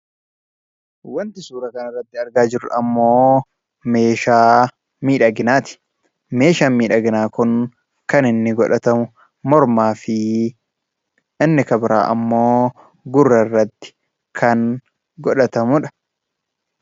Wanti suura kana irratti argaa jirru ammoo meeshaa miidhaginaati. Meshaan miidhaginaa kun kan godhatamu mormaafi inni kan biraa ammoo gurra irratti kan godhatamudha.